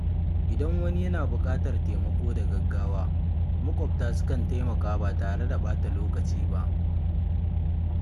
Idan wani yana buƙatar taimako da gaggawa, maƙwabta sukan taimaka ba tare da ɓata lokaci ba.